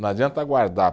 Não adianta guardar.